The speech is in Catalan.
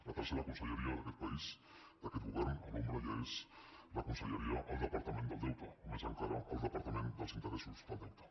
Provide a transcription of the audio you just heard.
la tercera conselleria d’aquest país d’aquest govern a l’ombra ja és la conselleria el departament del deute o més encara el departament dels interessos del deute